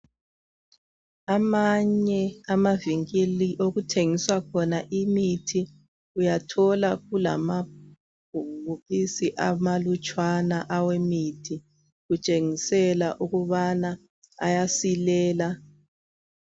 Amanye amavinkili okuthengiswa khona imithi uyathola kulabhokisi amanlutshwana awemithi kutshengisela ukubana ayasilela